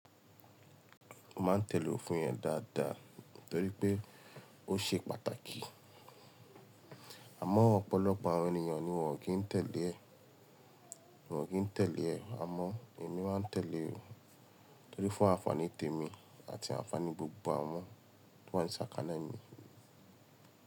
Mo máa ń tẹ̀lé òfin ẹ dáadáa torí pé ó ṣe pàtàkì. Àmọ́ ọ̀pọ̀lọpọ̀ àwọn ènìyàn ni wọ́n ò kí ń tẹ̀lé ẹ, wọ́n ò kí ń tẹ̀lé ẹ. Àmọ́ èmi máa ń tẹ̀lé ọ torí fún àǹfàní tèmi àti àǹfàní gbogbo àwọn tí wọ́n ṣàkáná mi.